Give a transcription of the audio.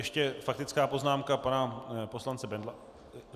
Ještě faktická poznámka pana poslance Bendla?